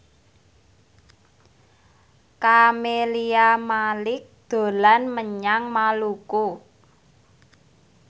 Camelia Malik dolan menyang Maluku